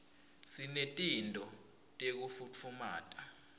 sinetinto tekufutfumata